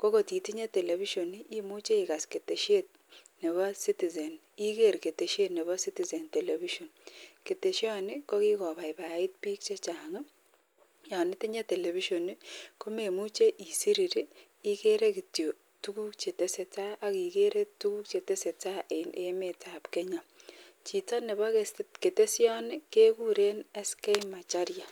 kotinye television imuche Iger tarifa en yoton, keteshoni kokikobaibait bik chechang ako yanitinye television komemuche isirir igere kityo tuguk chetesetai akigere tuguk chetesetai en emet ab Kenya AK Chito Nebo keteshoni kekuren SK Macharia